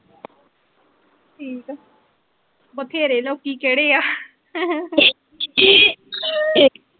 ਠੀਕ ਆ ਬਥੇਰੇ ਲੋਕੀ ਕਿਹੜੇ ਆ .